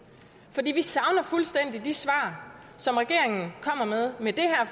for vi savner fuldstændig de svar som regeringen med det her